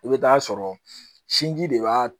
I bɛ taa sɔrɔ sinji de b'a